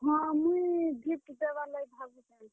ହଁ, ମୁଇଁ gift ଦେବାର୍ ଲାଗି ଭାବୁଛେଁ।